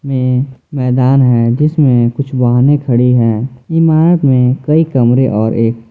ये मैदान है जिसमें कुछ वाहने खड़ी है इमारत में कई कमरे और एक--